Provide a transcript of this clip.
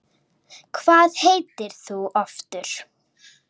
Hvað heitir þú aftur?